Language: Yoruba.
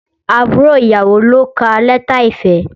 Àbúrò ìyàwó ló ka lẹ́tà ìfẹ́